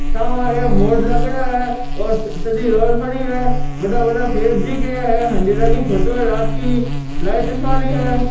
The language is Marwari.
सामे एक बोर्ड लाग्योड़ो है और सीधी रोड पड़ी है बड़ा बड़ा पेड़ दिख रिया है हांडेरा की फोटो है रात की लाइट चस वाली हैं।